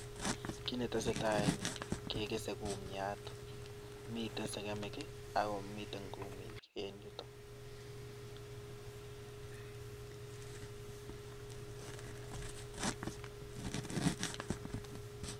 Kit netesetai en yuh kegese kumiat, mitten segemik ak komiten kumiik.